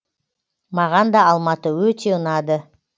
маған да алматы өте ұнады